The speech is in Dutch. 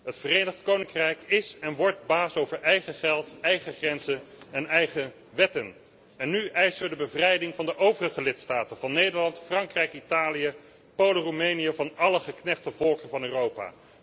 Het Verenigd Koninkrijk is en wordt baas over eigen geld, eigen grenzen en eigen wetten, en nu eisen we de bevrijding van de overige lidstaten van Nederland, Frankrijk, Italië, Polen, Roemenië, van alle geknechte volken van Europa.